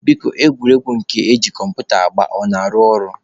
Biko egwuregwu nke eji kọmputa agba ọ na-arụ ọrụ?